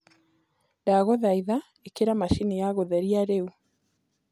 ndagũthaĩtha ĩkĩra machĩnĩ ya gutherĩa riu